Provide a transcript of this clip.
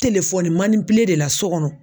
de la so kɔnɔ.